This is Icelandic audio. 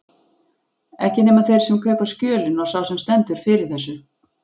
Ekki nema þeir sem kaupa skjölin og sá sem stendur fyrir þessu.